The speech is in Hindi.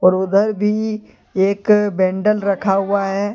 और उधर भी एक बंडल रखा हुआ है।